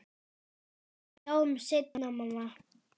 Við sjáumst seinna, mamma.